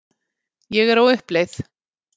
Ég er á uppleið.